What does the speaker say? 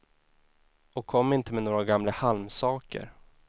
Och kom inte med några gamla halmsaker.